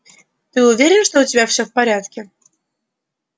ты уверен что у тебя всё в порядке